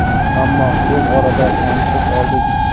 Ammo tez orada tanishib oldik.